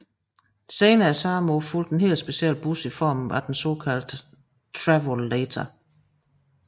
Senere samme år fulgte en helt speciel bus i form af den såkaldte Travolator